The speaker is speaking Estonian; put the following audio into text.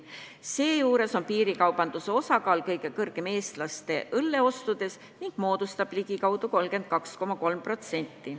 Seejuures on piirikaubanduse osakaal kõige suurem Eesti elanike õlleostudes: see moodustab ligikaudu 32,3%.